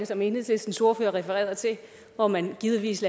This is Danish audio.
som enhedslistens ordfører refererede til hvor man givetvis